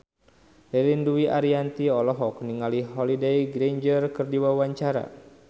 Ririn Dwi Ariyanti olohok ningali Holliday Grainger keur diwawancara